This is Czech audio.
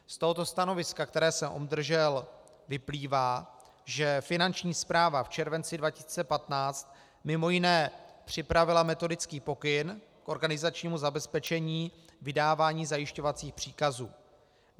Z tohoto stanoviska, které jsem obdržel, vyplývá, že Finanční správa v červenci 2015 mimo jiné připravila metodický pokyn k organizačnímu zabezpečení vydávání zajišťovacích příkazů.